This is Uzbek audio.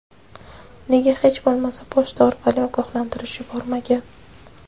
Nega hech bo‘lmasa pochta orqali ogohlantirish yubormagan?